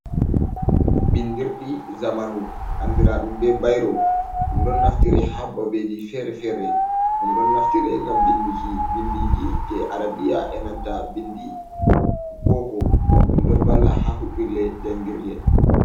Bindirɗi zamanu andiraaɗum be bairo, ɗum ɗon naftire ha babeji fere-fere, ɗum ɗon naftire ngam vinduki bindiiji je arabiya e nanta bindi boko, ɗum ɗon valla ha huɓɓirle jangirle.